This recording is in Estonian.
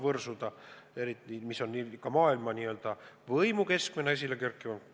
Pean eriti silmas riike, mis on maailma n-ö võimukeskustena esile kerkinud.